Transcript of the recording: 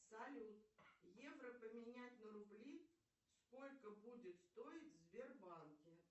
салют евро поменять на рубли сколько будет стоить в сбербанке